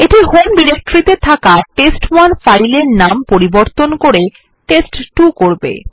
এইটি home ডিরেক্টরিতে থাকা test one file এর নাম পরিবর্তন করে টেস্ট2 করবে